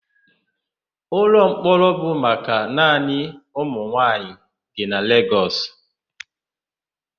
Ụlọmkpọrọ bụ maka naanị ụmụnwaanyị dị na Legọs.